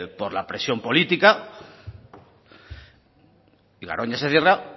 por la presión política y garoña se cierra